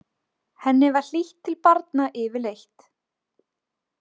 Henni var hlýtt til barna yfirleitt.